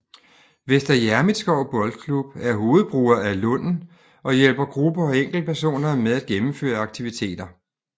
Vester Hjermitslev Boldklub er hovedbruger af Lunden og hjælper grupper og enkeltpersoner med at gennemføre aktiviteter